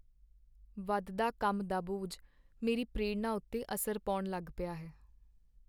ਵਧਦਾ ਕੰਮ ਦਾ ਬੋਝ ਮੇਰੀ ਪ੍ਰੇਰਣਾ ਉੱਤੇ ਅਸਰ ਪਾਉਣ ਲੱਗ ਪਿਆ ਹੈ।